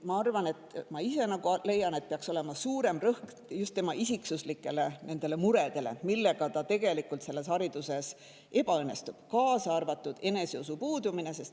Ma ise leian, et peaks olema suurem rõhk just isiksusega seotud muredele, mille tõttu ta tegelikult hariduses ebaõnnestub, kaasa arvatud eneseusu puudumine.